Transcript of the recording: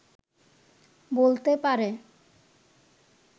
বলতে পারে